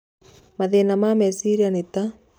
Mathĩna ma meciria nĩ ta